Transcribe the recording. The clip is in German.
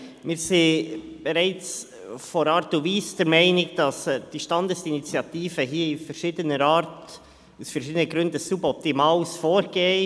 Wir sind bereits von der Art und Weise her der Meinung, die Standesinitiative sei aus verschiedenen Gründen ein suboptimales Vorgehen.